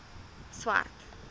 swart